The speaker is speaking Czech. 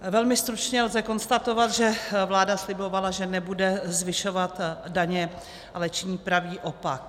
Velmi stručně lze konstatovat, že vláda slibovala, že nebude zvyšovat daně, ale činí pravý opak.